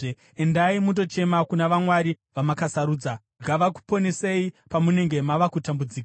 Endai mundochema kuna vamwari vamakasarudza. Ngavakuponesei pamunenge mava kutambudzika!”